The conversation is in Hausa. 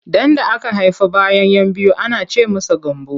Ɗan da aka haifa bayan 'yan biyu ana ce masa Gambo.